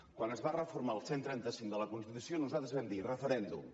quan es va reformar el cent i trenta cinc de la constitució nosaltres vam dir referèndum